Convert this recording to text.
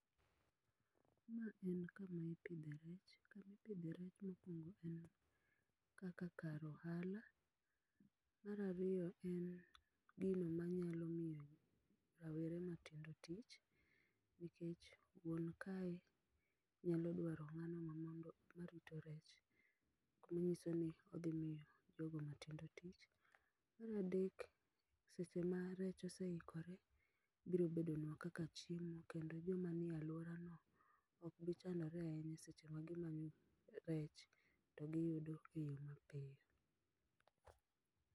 Ma en kama ipidhe rech, kama ipidhe rech mokwongo en kaka kar ohala, mar ariyo en gino manyalo miyo rawere matindo tich, nikech wuon kae nyalo dwaro ng'ano mamondo marito rech. Manyiso ni odhi mito jogo matindo tich. Mar adek seche ma rech oseikore, biro bedonwa kaka chiemo kendo joma ni e alwora no ok bi chandore ahinya seche magimanyo rech to giyudo eyo mapiyo.